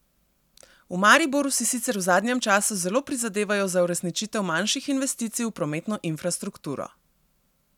V Mariboru si sicer v zadnjem času zelo prizadevajo za uresničitev manjših investicij v prometno infrastrukturo.